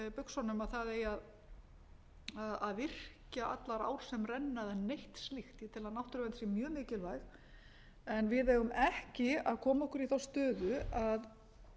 þeim buxunum að það eigi að virkja allar ár sem renna eða neitt slíkt ég tel að náttúruvernd sé mjög mikilvæg en við eigum ekki að koma okkur í þá stöðu að